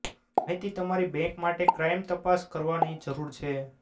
માહિતી તમારી બેંક માટે ક્રાઇમ તપાસ કરવાની જરૂર છે